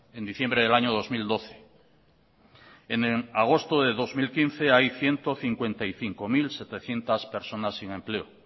en diciembre del año dos mil doce en agosto de dos mil quince hay ciento cincuenta y cinco mil setecientos personas sin empleo